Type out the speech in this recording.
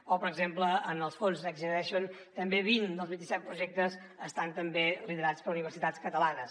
o per exemple en els fons next generation també vint dels vint i set projectes estan també liderats per universitats catalanes